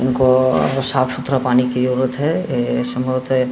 इनको साफ़ सुथरा पानी की जरुरत है। ए संभवत --